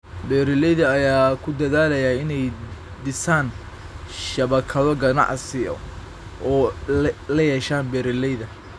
Beeralayda ayaa ku dadaalaya inay dhisaan shabakado ganacsi oo ay la yeeshaan beeralayda.